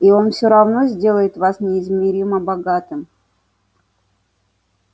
и он всё равно сделает вас неизмеримо богатым